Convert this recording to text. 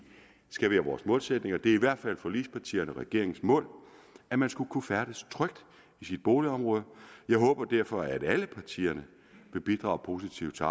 skal være vores målsætning det er i hvert fald forligspartiernes og regeringens mål at man skal kunne færdes trygt i sit boligområde jeg håber derfor at alle partier vil bidrage positivt til